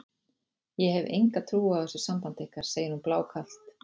Ég hef enga trú á þessu sambandi ykkar, segir hún blákalt.